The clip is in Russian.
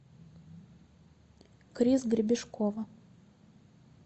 крис гребешкова